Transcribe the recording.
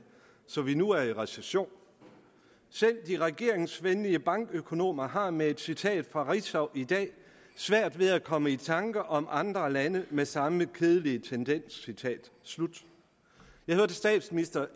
så vi nu er i recession selv de regeringsvenlige bankøkonomer har med et citat fra ritzau i dag svært ved at komme i tanker om andre lande med samme kedelige tendens citat slut jeg hørte statsministeren